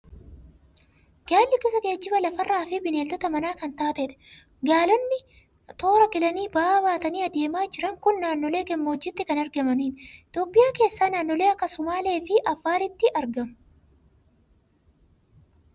Gaalli gosa geejjiba lafa irraa fi bineelda manaa kan taatedha. Gaalonni toora galanii ba'aa baatanii adeemaa jiran kun naannolee gammoojjiitti kan argamanidha. Itoophiyaa keessaa naannolee akka Sumaalee fi Affaariitti argamu.